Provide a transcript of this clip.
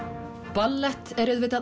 ballett er auðvitað